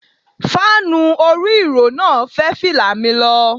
Fáànù orí ìró náà fẹ́ fìlà mi lọ.